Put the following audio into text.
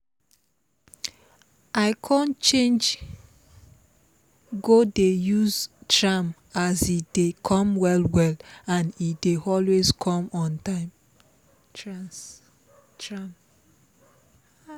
i con change go dey use tram as e dey come well well and e dey always come on time